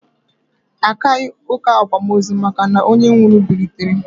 Akaghị ụka akwamozu maka na onye nwụrụ bilitere